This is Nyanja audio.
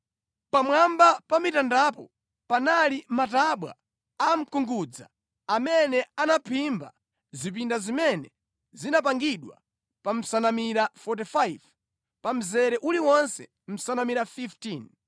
Pamwamba pa mitandapo panali matabwa a mkungudza amene anaphimba zipinda zimene zinamangidwa pa nsanamira 45, pa mzere uliwonse nsanamira 15.